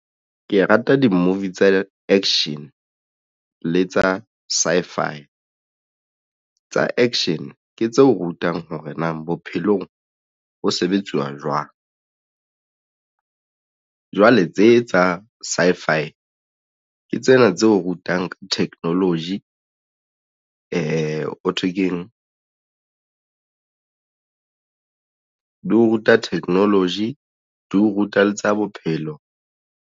Ke rata di-movie tsa action le tsa sci-if. Tsa action ke tse o rutang hore na bophelong ho sebetsuwa jwang jwale tse tsa sci-fi ke tsena tse o rutang ka technology ho thwe ke eng di o ruta technology di o ruta le tsa bophelo.